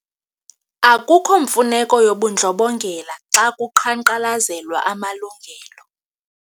Akukho mfuneko yobundlobongela xa kuqhankqalazelwa amalungelo.